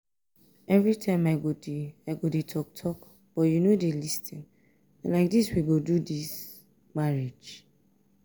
everytime i go dey i go dey talk talk but you no dey lis ten na like dis we go do dis marriage?